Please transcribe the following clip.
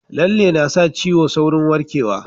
Lalle na sa ciwo saurin warkewa